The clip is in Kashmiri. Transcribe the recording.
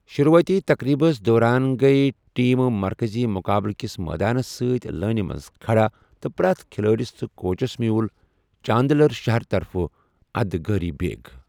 شروٗعٲتی تقریبَس دوران گٔیی ٹیٖمہٕ مرکٔزی مُقٲبلہٕ کِس مٲدانَس سۭتۍ لٲنہِ منٛز کھڑا تہٕ پرٛیتھ کھلٲڈس تہٕ کوچَس میول چاندلر شہر طرفہٕ ادگٲری بیگ۔